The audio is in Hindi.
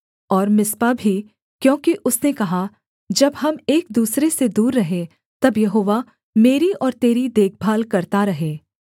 और मिस्पा भी क्योंकि उसने कहा जब हम एक दूसरे से दूर रहें तब यहोवा मेरी और तेरी देखभाल करता रहे